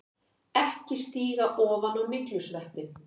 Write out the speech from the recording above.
EKKI STÍGA OFAN Á MYGLUSVEPPINN!